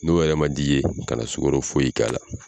N'o yɛrɛ ma di i ye kana sukoro foyi k'a la.